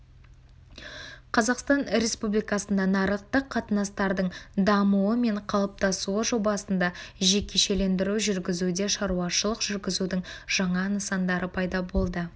қазақстан республикасында нарықтық қатынастардың дамуы мен қалыптасуы жобасында жекешелендіру жүргізуде шаруашылық жүргізудің жаңа нысандары пайда болады